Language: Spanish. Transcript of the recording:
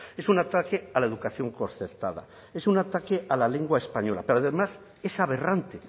es un ataque a la educación concertada es un ataque a la lengua española pero además es aberrante